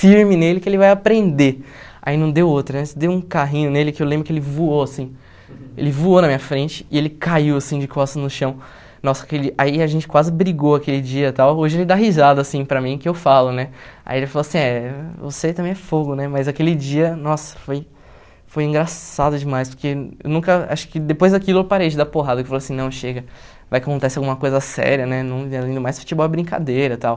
firme nele que ele vai aprender aí não deu outra nessa, dei um carrinho nele que eu lembro que ele voou assim ele voou na minha frente e ele caiu assim de costas no chão nossa, aquele aí a gente quase brigou aquele dia e tal, hoje ele dá risada assim para mim que eu falo, né aí ele falou assim, é, você também é fogo, né mas aquele dia, nossa, foi foi engraçado demais porque eu nunca, acho que depois daquilo eu parei de dar porrada, que eu falei assim, não, chega vai que acontece alguma coisa séria, né não e além do mais futebol é brincadeira e tal